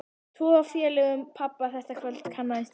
Tvo af félögum pabba þetta kvöld kannaðist ég við.